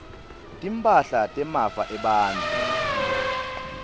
timphahla temafa ebantfu